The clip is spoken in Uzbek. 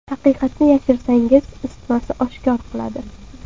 Haqiqatni yashirsangiz, isitmasi oshkor qiladi.